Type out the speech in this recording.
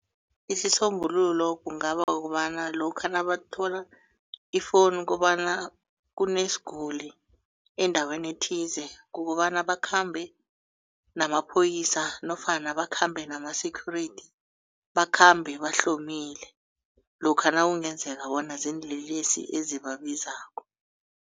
Isisombululo kungaba kukobana lokha nabathola i-phone kobana kunesiguli endaweni ethize kukobana bakhambe namapholisa nofana bakhambe nama-security bakhambe bahlonimile lokha nakungenzeka bona ziinlelesi ezibabizako.